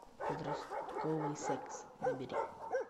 подростковый секс набери